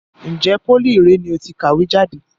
Ǹjẹ́ pólì ìré ni ó ti kàwé jáde?